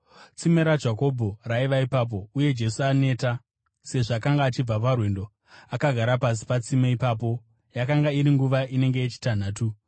Tsime raJakobho raiva ipapo, uye Jesu, aneta sezvo akanga achibva parwendo, akagara pasi patsime ipapo. Yakanga iri nguva inenge yechitanhatu.